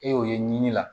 E y'o ye ɲini la